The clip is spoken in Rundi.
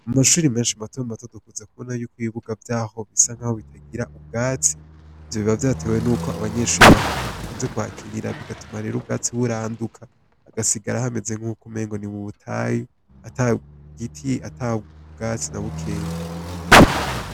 Mumashure menshi matomato dukunze kubona yuko ibibuga vyaho bisa nkaho bitagira ubwatsi, ivyo biba vyatewe nuko abanyeshure bakunze kuhakinira, bigatuma rero ubwatsi buranduka hagasigara hameze nkukumenga ni mubutayu atagiti atabwatsi na bukeya.